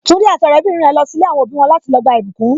Tunji àti ọrẹ bìnrin rẹ ń lọ si ilé àwọn òbí wọn láti lọ gba ìbùkún.